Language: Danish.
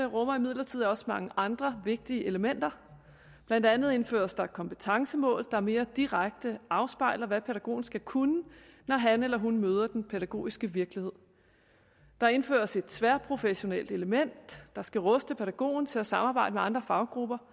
rummer imidlertid også mange andre vigtige elementer blandt andet indføres der kompetencemål der mere direkte afspejler hvad pædagogen skal kunne når han eller hun møder den pædagogiske virkelighed der indføres et tværprofessionelt element der skal ruste pædagogen til at samarbejde med andre faggrupper